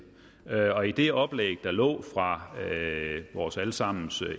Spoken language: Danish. og i det oplæg der lå fra vores alle sammens